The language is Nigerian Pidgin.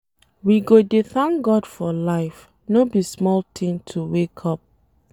We go dey thank God for life, no be small tin to wake up.